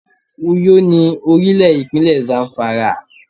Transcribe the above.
Uyó ni orílè ìpínlẹ̀ Zamfara